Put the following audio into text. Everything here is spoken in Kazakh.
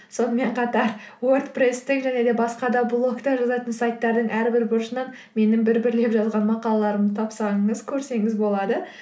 сонымен қатар уордпрессте және басқа да блогта жазатын сайттардың әрбір бұрышынан менің бір бірлеп жазған мақалаларымды тапсаңыз көрсеңіз болады